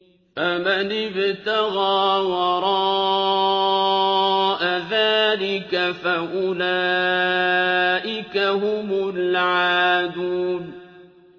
فَمَنِ ابْتَغَىٰ وَرَاءَ ذَٰلِكَ فَأُولَٰئِكَ هُمُ الْعَادُونَ